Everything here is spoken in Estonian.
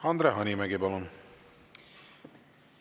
Andre Hanimägi, palun!